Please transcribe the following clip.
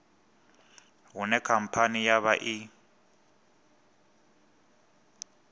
hune khamphani ya vha i